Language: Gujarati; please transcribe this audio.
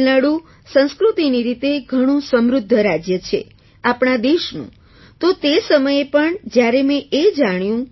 તમિલનાડુ સંસ્કૃતિની રીતે ઘણું સમૃદ્ધ રાજ્ય છે આપણા દેશનું તો તે સમયે પણ જ્યારે મેં એ જાણ્યું